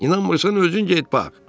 İnanmırsan özün get bax.